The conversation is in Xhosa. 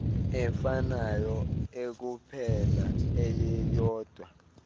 efanayo ekuphela eyeyodwa